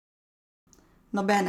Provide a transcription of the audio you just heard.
Nobene!